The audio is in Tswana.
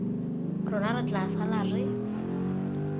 rona re tla sala re